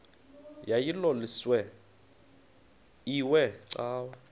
yayilolwesine iwe cawa